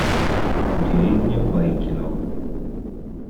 деревня байкино